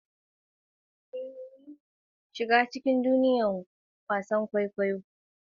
A mutunta basira da haɗin gwiwar da ke shiga kowane samarwa, daga wasan kwaikwayo zuwa allo.